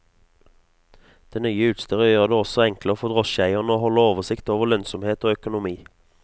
Det nye utstyret gjør det også enklere for drosjeeierne å holde oversikt over lønnsomhet og økonomi.